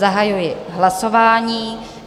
Zahajuji hlasování.